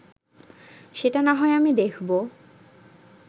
সেটা না হয় আমি দেখব